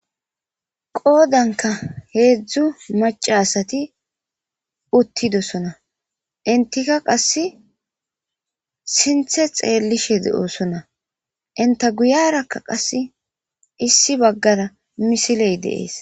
qoodanka heedzdzu maca asati uttidosona intika qasse sinthe xeellishe deoosona inta guyarakka qasse issi baggara misiley de'ees